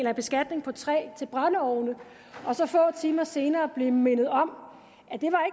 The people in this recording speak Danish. en beskatning på træ til brændeovne og så få timer senere blev mindet om